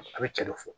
A bɛ cɛ dɔ fɔ